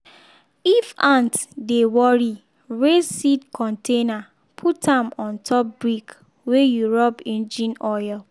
if ant dey worry raise seed container put am on top brick wey you rub engine oil.